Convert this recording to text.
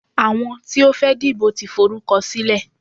Àwọn tí ó fẹ́ dìbò tí forúkọ sílẹ̀.